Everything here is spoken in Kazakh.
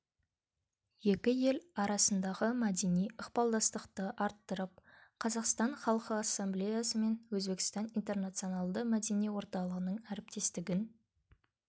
екі ел арасындағы мәдени ықпалдастықты арттырып қазақстан халқы ассамблеясы мен өзбекстан интернационалды мәдени орталығының әріптестігін